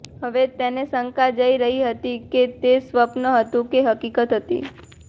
હવે તેને શંકા જઈ રહી હતી કે તે સ્વપ્ન હતું કે હકીકત હતી